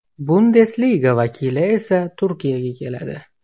Bundesliga vakili esa Turkiyaga keladi.